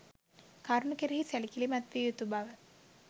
කරුණු කෙරෙහි සැලකිලිමත්විය යුතු බව